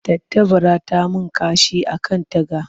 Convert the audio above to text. Tattabara ta yi min kashi a kan taga.